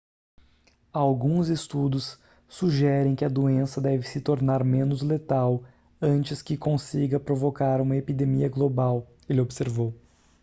alguns estudos sugerem que a doença deve se tornar menos letal antes que consiga provocar uma epidemia global ele observou